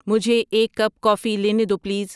مجھے ایک cup coffee لینے دو پلیز